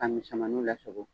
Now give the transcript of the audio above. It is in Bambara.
Ka misɛmaniw lasago.